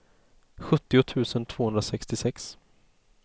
sjuttio tusen tvåhundrasextiosex